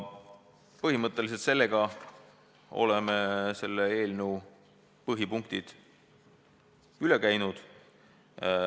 Põhimõtteliselt olen nüüd selle eelnõu põhipunktid üle käinud.